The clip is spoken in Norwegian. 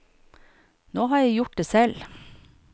Nå har jeg gjort det selv.